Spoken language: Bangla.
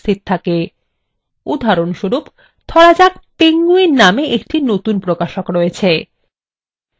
উদাহরণস্বরূপ ধরা যাক penguin নামে একটি নতুন প্রকাশক রয়েছে